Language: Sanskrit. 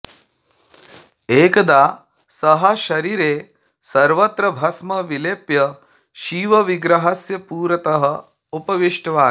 एकदा सः शरीरे सर्वत्र भस्म विलेप्य शिवविग्रहस्य पुरतः उपविष्टवान्